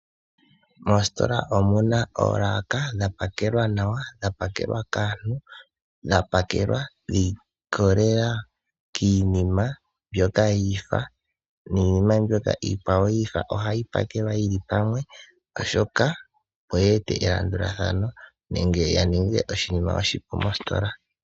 Moositola omuna oolaka dhapakelwa nawa, dhapakelwa kaantu, dhapakelwa shiikolelea kiinima mbyoka yiifa. Iinima mbyoka iikwawo yiifa ohayi pakelwa yili pamwe oshoka oyeta elandulathano nenge yaninge oshinima oshipu mositola.